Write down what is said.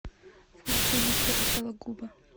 включи виктора сологуба